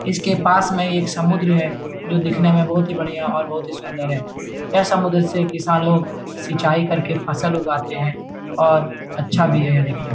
इसके पास में एक समुद्र है जो दिखने में बहोत ही बढ़िया और बहोत ही सुन्दर है यह समुद्र से किसान लोग सिंचाई करके फसल उगाते हैं और अच्छा भी है --